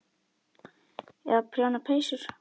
Eða prjóna peysur.